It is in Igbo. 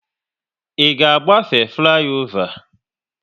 Ị ga agbafe fliova?